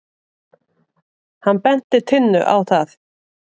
Hann benti Tinnu á það.